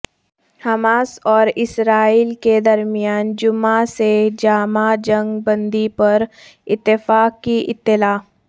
Hamas اور Israel کے درمیان جمعہ سے جامع جنگ بندی پر اتفاق کی اطلاع